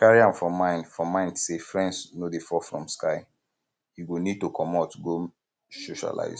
carry am for um mind for um mind sey friends no dey fall from sky you go need to um comot go um socialize